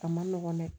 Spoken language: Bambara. A man nɔgɔn dɛ